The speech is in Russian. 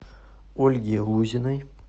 ольги лузиной